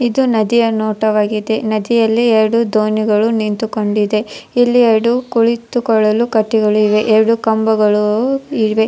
ಇದು ನದಿಯ ನೋಟವಾಗಿದೆ ನದಿಯಲ್ಲಿ ಎರಡು ದೋಣಿಗಳು ನಿಂತುಕೊಂಡಿದೆ ಇಲ್ಲಿ ಎರಡು ಕುಳಿತುಕೊಳ್ಳಲು ಕಟ್ಟಿಗಳು ಇದೆ ಎರಡು ಕಂಬಗಳು ಇವೆ.